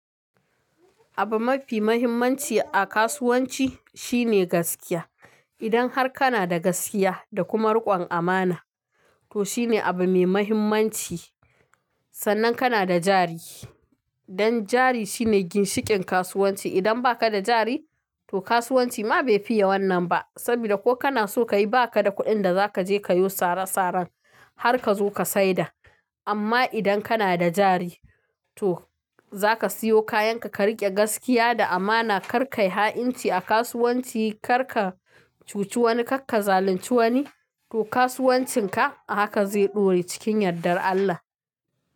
Abun mafi muhimmanci a kasuwanci shine gaskiya. Idan har kana da gaskiya da kuma rikon amana, to shine abu mai muhimmanci sannan kana da jari. Dan jari shine ginshikin kasuwanci. Idan baka da jari, to kasuwanci ma bai fiya wannan ba. Saboda ko kana so kayi, ba ka da kuɗin da za ka je ka yo sara saran har ka zo ka saida. Amma idan kana da jari, to za ka siyo kayan ka, ka rike gaskiya da amana, kar kayi ha'inci a kasuwanci, kar ka cuci wani, kar ka zalunci wani, to kasuwancin ka haka zai ɗore cikin yardar Allah.